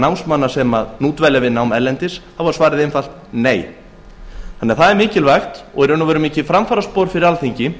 námsmanna sem nú dvelja við nám erlendis þá var svarið einfalt nei því er mikilvægt og í raun og veru mikið framfaraspor fyrir alþingi